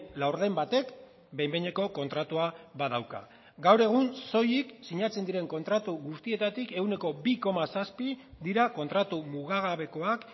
laurden batek behin behineko kontratua badauka gaur egun soilik sinatzen diren kontratu guztietatik ehuneko bi koma zazpi dira kontratu mugagabekoak